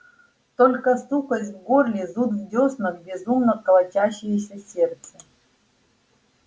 только сухость в горле зуд в дёснах безумно колотящееся сердце